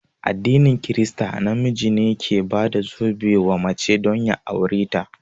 A addinin krista, na miji ne ke bada zobe wa mace don ya aure ta